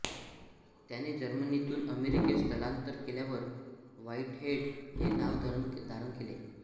त्याने जर्मनीतुन अमेरिकेत स्थलांतर केल्यावर व्हाईटहेड हे नाव धारण केले